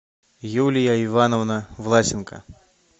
юлия ивановна власенко